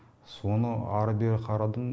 соны ары бері қарадым